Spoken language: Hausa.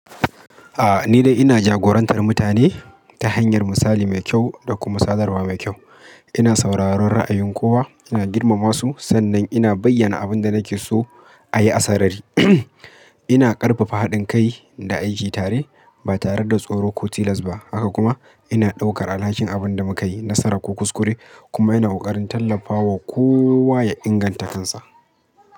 A'a ni dai ina jagorantar mutane ta hanyar misali mai kyau da kuma sadarwa mai kyau. Ina sauraron ra'ayin kowa, ina girmama su sannan ina bayyana abin da nake so a yi a sarari. Ina ƙarfafa haɗin kai da aiki tare ba tare da tsoro ko tilas ba. Haka kuma ina ɗaukar alhakin abin da mu ka yi nasara ko kuskure kuma ina ƙoƙarin tallafawa kowa ya inganta kansa.